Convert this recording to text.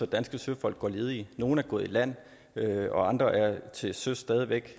danske søfolk går ledige nogle er gået i land og andre er til søs stadig væk